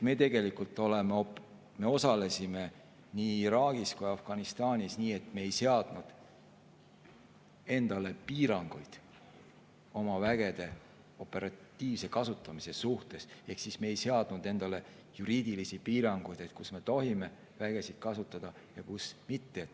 Me osalesime nii Iraagis kui ka Afganistanis nii, et me ei seadnud endale piiranguid oma vägede operatiivse kasutamise suhtes ehk me ei seadnud endale juriidilisi piiranguid, et kus me tohime vägesid kasutada ja kus mitte.